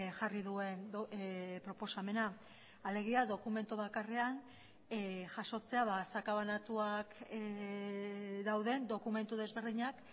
jarri duen proposamena alegia dokumentu bakarrean jasotzea sakabanatuak dauden dokumentu desberdinak